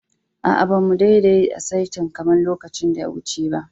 Aa, ba mu dadde a'saitan kaman lokacin da ya wuce ba.